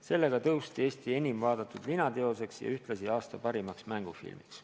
Sellega sai see film Eesti enim vaadatud linateoseks ja ühtlasi aasta parimaks mängufilmiks.